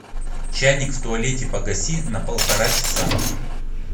чайник в туалете погаси на полтора часа